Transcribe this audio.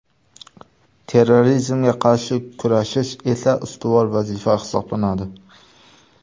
Terrorizmga qarshi kurashish esa ustuvor vazifa hisoblanadi.